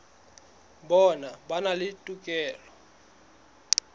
bona ba na le tokelo